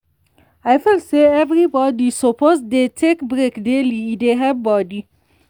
i feel say everybody suppose dey take break daily e dey help body.